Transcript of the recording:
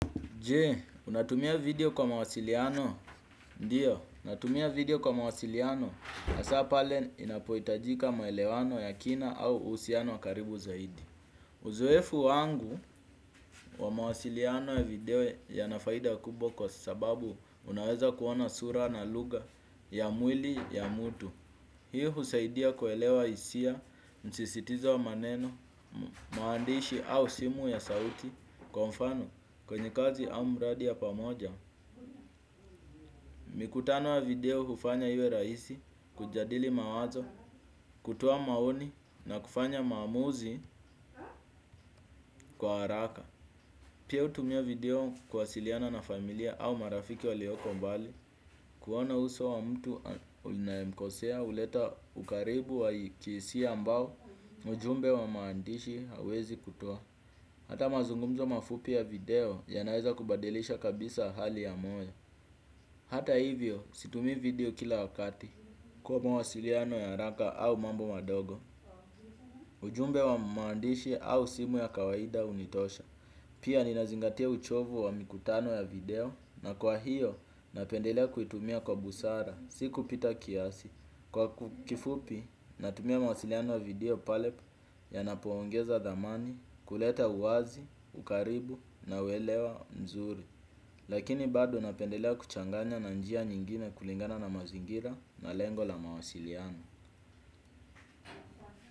Jee, unatumia video kwa mawasiliano? Ndio, natumia video kwa mawasiliano hasa pale inapoitajika maelewano ya kina au uhusiano wa karibu zaidi. Uzoefu wangu wa mawasiliano ya video yana faida kubwa kwa sababu unaweza kuona sura na lugha ya mwili ya mtu. Hii husaidia kuelewa hisia, msisitizo wa maneno, maandishi au simu ya sauti kwa mfano kwenye kazi au mradi ya pamoja. Mikutano ya video hufanya iwe rahisi, kujadili mawazo, kutoa maoni na kufanya maamuzi kwa haraka. Pia hutumia video kwasiliana na familia au marafiki walioko mbali. Kuona uso wa mtu unayemkosea huleta ukaribu wa kihisia ambao ujumbe wa maandishi huwezi kutoa. Hata mazungumzo mafupi ya video ya naweza kubadilisha kabisa hali ya moyo. Hata hivyo situmii video kila wakati kwa mawasiliano ya haraka au mambo madogo. Ujumbe wa maandishi au simu ya kawaida hunitosha. Pia ninazingatia uchovu wa mikutano ya video na kwa hiyo napendelea kuitumia kwa busara. Sikupita kiasi kwa kifupi natumia mawasiliano ya video pale yanapoongeza thamani kuleta uwazi, ukaribu na uelewa mzuri. Lakini bado napendelea kuchanganya na njia nyingine kulingana na mazingira na lengo la mawasiliano.